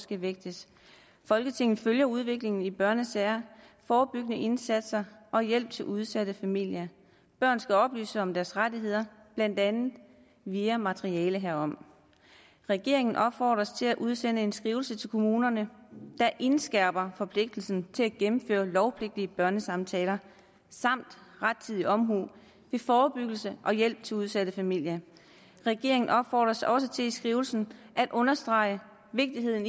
skal vægtes folketinget følger udviklingen i børnesager forebyggende indsatser og hjælp til udsatte familier børn skal oplyses om deres rettigheder blandt andet via materiale herom regeringen opfordres til at udsende en skrivelse til kommunerne der indskærper forpligtelsen til at gennemføre lovpligtige børnesamtaler samt rettidig omhu ved forebyggelse og hjælp til udsatte familier regeringen opfordres også til i skrivelsen at understrege vigtigheden